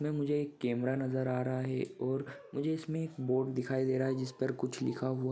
इसमे मुझे एक केमेरा नजर आ रहा है और मुझे इसमे एक बोर्ड दिखाई दे रहा है जिसपर कुछ लिखा हुआ--